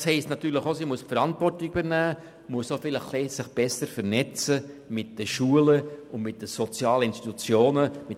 Das heisst natürlich auch, dass sie die Verantwortung übernehmen und sich vielleicht etwas besser mit den Schulen und den sozialen Institutionen vernetzen müssen.